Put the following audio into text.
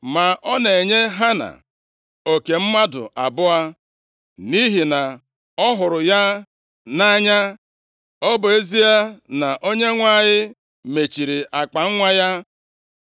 Ma ọ na-enye Hana oke mmadụ abụọ, nʼihi na ọ hụrụ ya nʼanya, ọ bụ ezie na Onyenwe anyị mechiri akpanwa ya.